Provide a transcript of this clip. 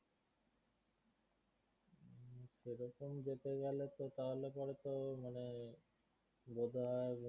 এখন যেতে গেলে তো তাহলে পরে তো মানে বোধহয়